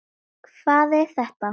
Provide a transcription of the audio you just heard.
Hvað er þetta!